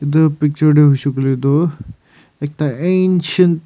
itu picture tu huishe kuile tu ekta ancient --